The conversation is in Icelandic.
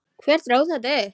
Hver dró þetta upp?